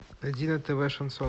найди на тв шансон